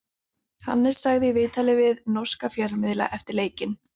Hannes sagði í viðtali við norska fjölmiðla eftir leikinn: